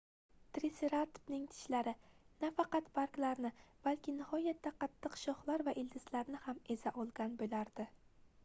triseratopning tishlari nafaqat barglarni balki nihoyatda qattiq shoxlar va ildizlarni ham eza olgan boʻlardi